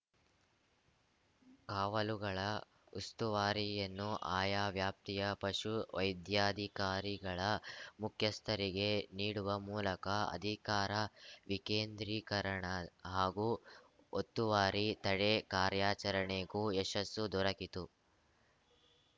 ಕಾವಲುಗಳ ಉಸ್ತುವಾರಿಯನ್ನು ಆಯ ವ್ಯಾಪ್ತಿಯ ಪಶು ವೈದ್ಯಾಧಿಕಾರಿಗಳ ಮುಖ್ಯಸ್ಥರಿಗೆ ನೀಡುವ ಮೂಲಕ ಅಧಿಕಾರ ವಿಕೇಂದ್ರಿಕರಣ ಹಾಗೂ ಒತ್ತುವಾರಿ ತಡೆ ಕಾರ್ಯಚರಣೆಗೂ ಯಶಸ್ಸು ದೊರಕಿತ್ತು